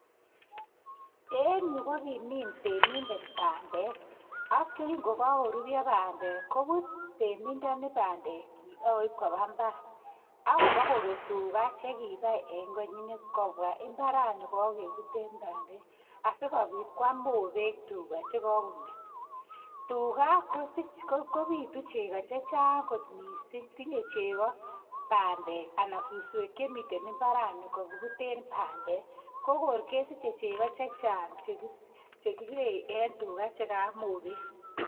En yu ko kimin temindet pandek. Ak kingokakorurya pandek koput temindani pandekchik ak koip kopa mbara. Ak kopa koket tuga che kipai en koinyinet kopwa mbarani kakeputen pandet asikopit koam mopek tuga che kakong'et. Tuga kopotu cheko che chang' kot missing'. Tinye cheko pandek anan suswechu miten imbarani kakiputen pandek. Ko kor kesiche cheko chang' che kikee eng' tuga che maam mopek.